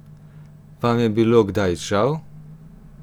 Vam je bilo kdaj žal?